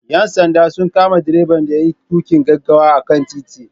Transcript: Ƴan sanda sun kama direban da yayi tuƙin gaggawa a kan titi.